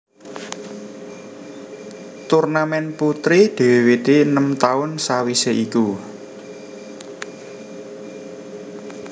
Turnamèn putri diwiwiti enem taun sawisé iku